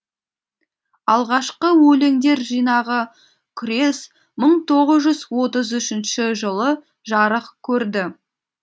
алғашқы өлеңдер жинағы күрес мың тоғыз жүз отыз үшінші жылы жарық көрді